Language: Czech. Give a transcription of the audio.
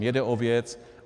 Mně jde o věc.